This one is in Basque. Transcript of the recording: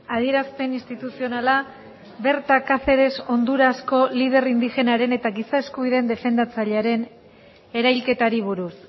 adierazpen instituzionala berta caceres hondurasko lider indigenaren eta giza eskubideen defendatzailearen erailketari buruz